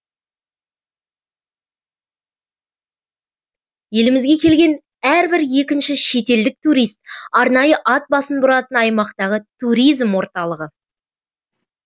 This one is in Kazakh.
елімізге келген әрбір екінші шетелдік турист арнайы ат басын бұратын аймақтағы туризм орталығы